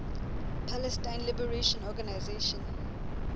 palestine liberation organization